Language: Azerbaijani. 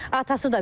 Atası da verdi.